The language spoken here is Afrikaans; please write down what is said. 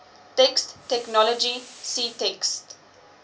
text technology ctext